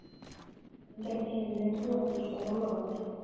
Sólin gerði himininn roðagylltan og logandi.